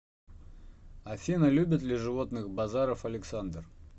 афина любит ли животных базаров александр